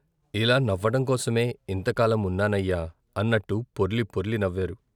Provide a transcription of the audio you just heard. ఇలా నవ్వటం కోసమే ఇంతకాలం ఉన్నా నయ్యా, అన్నట్టు పొర్లి పొర్లి నవ్వారు.